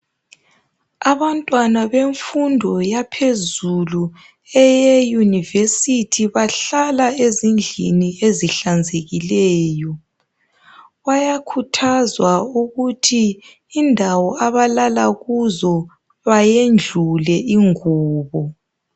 Abantwana bemfundo yaphezulu, eye university, bahlala ezindlini ezihlanzekileyo. Bayakhuthazwa ukuthi indawo abalala kuzo, bayendlule ingubo.